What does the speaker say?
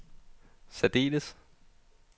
særdeles